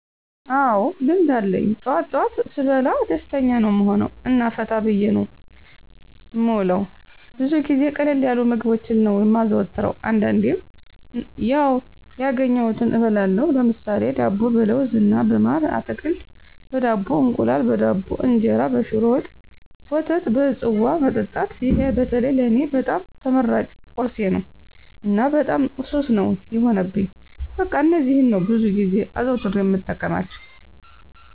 አዎ ልምድ አለኝ ጠዋት ጠዋት ስበላ ደስተኛ ነዉ እምሆነዉ እና ፈታ ብየ ነዉ እምዉለዉ። ብዙ ጊዜ ቀለል ያሉ ምግቦችን ነዉ እማዘወትር አንዳንዴም ያዉ ያገኘዉትን እበላለሁ ለምሳሌ፦ ዳቦ በለዉዝ እና በማር፣ አትክልት በዳቦ፣ እንቁላል በዳቦ፣ እንጀራ በሽሮ ወጥ፣ ወተት በፅዋ መጠጣት ይሄ በተለይ ለኔ በጣም ተመራጭ ቁርሴ ነዉ እና በጣም ሱስ ነዉ የሆነብኝ በቃ እነዚህን ነዉ ብዙ ጊዜ አዘዉትሬ እምጠቀማቸዉ።